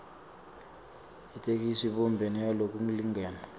yetheksthi ibumbene ngalokulingene